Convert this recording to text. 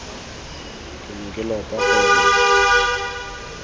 ke ne ke lopa gore